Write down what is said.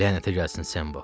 Lənətə gəlsin Sembo.